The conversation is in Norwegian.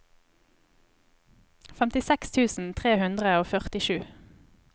femtiseks tusen tre hundre og førtisju